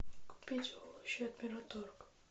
купить овощи от мираторг